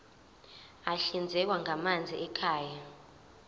ahlinzekwa ngamanzi ekhaya